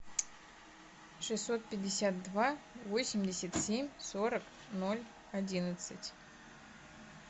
шестьсот пятьдесят два восемьдесят семь сорок ноль одиннадцать